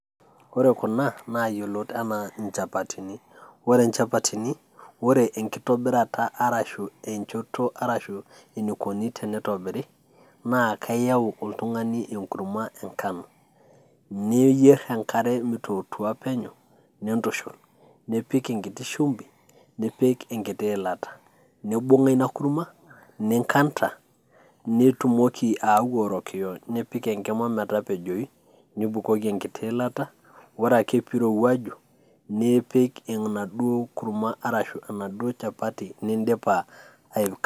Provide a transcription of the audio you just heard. Ore kuna na iyiolot ena inchapatini, ore inchapatin enkitobirata, arashu enchoto ashu enaikoni tenitobiri, na keyau oltungani enkurma enkano, niyier enkare mitotua penyo nintushul, nipik enkiti shumbi, nikipik enkiti ilata, nibunga ina kurma ninganda, nitumoki ayau orokio nipik enkima metapejoyu, nibukoki enkiti ilata, ore ake pirowuaju nipik ena duo kurma ashu enaduo shapati nindipa aikaa.